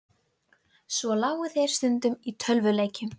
Boranir hófust að nýju við Þvottalaugarnar.